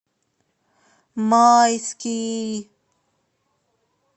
майский